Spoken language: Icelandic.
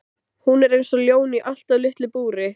Hún er eins og ljón í allt of litlu búri!